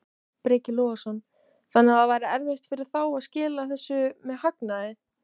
Breki Logason: Þannig að það væri erfitt fyrir þá að skila þessu með hagnaði?